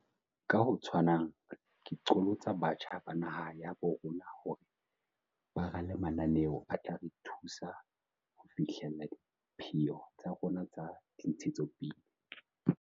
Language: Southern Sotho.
Ka ho tshwanang, ke qholotsa batjha ba naha ya habo rona hore ba rale mananeo a tla re thusa ho fihlella dipheo tsa rona tsa dintshetsopele.